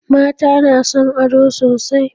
Mata na son ado sosai